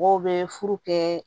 Mɔgɔw bɛ furu kɛ